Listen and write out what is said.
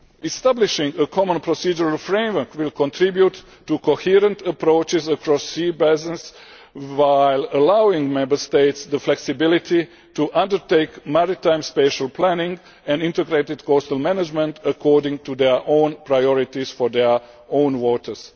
Establishing a common procedural framework will contribute to coherent approaches across sea basins, while allowing Member States the flexibility to undertake maritime spatial planning and integrated coastal management according to their own priorities for their own waters.